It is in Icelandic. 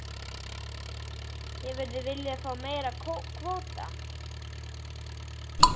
Lillý: Hefðirðu viljað fá meiri kvóta?